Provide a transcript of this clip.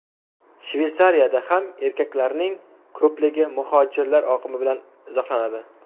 Shveysariyada ham erkaklarning ko‘pligi muhojirlar oqimi bilan izohlanadi.